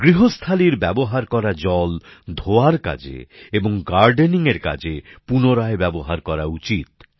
গৃহস্থালির ব্যবহার করা জল ধোয়ার কাজে এবং বাগানে জল দেবার কাজে পুনরায় ব্যবহার করা উচিত